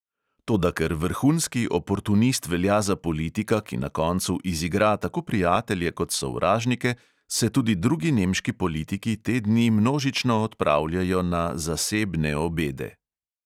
Toda ker vrhunski oportunist velja za politika, ki na koncu izigra tako prijatelje kot sovražnike, se tudi drugi nemški politiki te dni množično odpravljajo na "zasebne" obede.